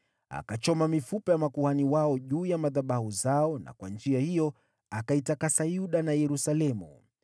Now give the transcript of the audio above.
Akachoma mifupa ya makuhani wao juu ya madhabahu zao na kwa njia hiyo akaitakasa Yuda na Yerusalemu.